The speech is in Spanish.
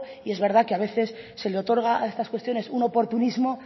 y es verdad que a veces se le otorga a estas cuestiones un oportunismo